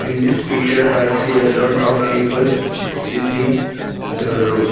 In this picture I see a lot of people sitting the roof.